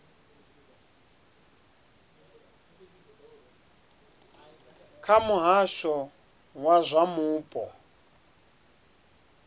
kha muhasho wa zwa mupo